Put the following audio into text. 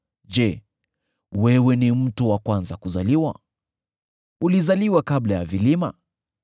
“Je, wewe ni mtu wa kwanza kuzaliwa? Ulizaliwa kabla ya vilima?